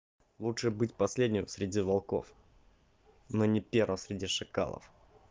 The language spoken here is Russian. лучше быть последним среди волков но не первым среди шакалов